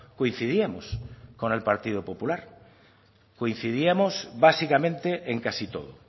coincidíamos con el partido popular coincidíamos básicamente en casi todo